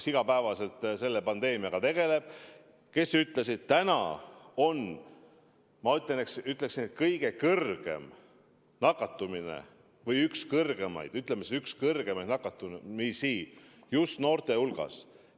Nemad tegelevad iga päev selle pandeemiaga ja nad ütlesid, et praegu on kõige kõrgem nakatumine või, ütleme siis, üks kõige kõrgemaid nakatumisi just noorte hulgas.